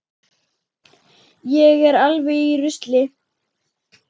Ég er alveg í rusli.